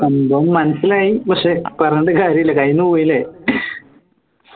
സംഭവം മനസ്സിലായി പക്ഷേ പറഞ്ഞിട്ട് കാര്യല്ല കയ്യിന്ന് പോയി ല്ലേ